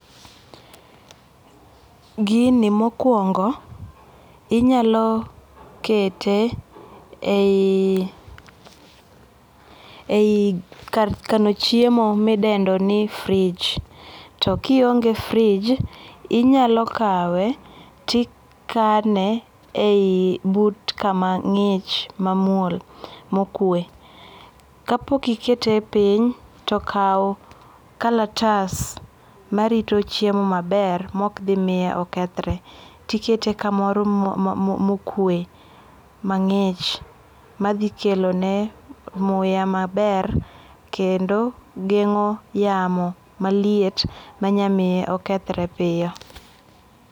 Gini mokuongo inyalo kete ei ei kar kano chiemo midendo ni fridge to kionge fridge inyalo kawe tikane ei but kama ngich mamuol mokwe. Kapok ikete piny tokaw kalatas marito chiemo maber maok dhimiyo okethre tikete kamoro ma okwe mangich madhi kelone muya maber kendo gengo yamo maliet manya miyo okethre piyo